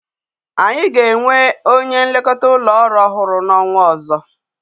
Anyi ga-enwe onye nlekọta ụlọ orụ ọhụrụ n'ọnwa ọzọ.